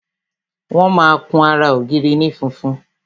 Wọn máa kun ara ògiri ní funfun